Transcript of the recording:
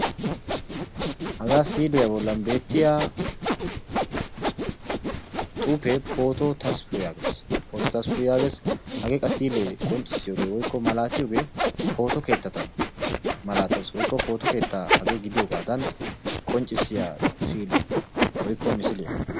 haga siiliya bollan beettiya xufe pooto Tasfu yaagees hage qa siile maalatiyooge pooto keettata malatees woykko pooto keetta gidiyoogadana qonccissiyaa misiliyaa woykko siiliyaa.